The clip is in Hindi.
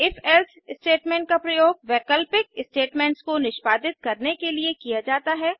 ifएल्से स्टेटमेंट का प्रयोग वैकल्पिक स्टेटमेंट्स को निष्पादित करने के लिए किया जाता है